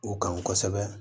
U kan kosɛbɛ